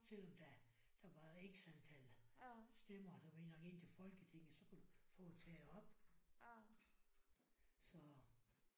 Selvom der der var X antal stemmer du ved nok inde til Folketingen så kan du få taget op så